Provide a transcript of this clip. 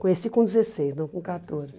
Conheci com dezesseis, não com quatorze.